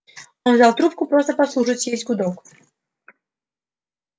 он взял трубку просто послушать есть гудок